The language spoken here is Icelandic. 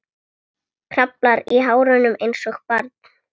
Kraflar í hárunum einsog barn.